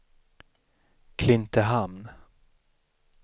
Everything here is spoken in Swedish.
Klintehamn